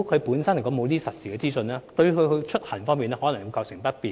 沒有實時資訊，對他出行可能會構成不便。